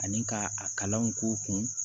Ani ka a kalanw k'u kun